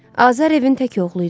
Azər evin tək oğlu idi.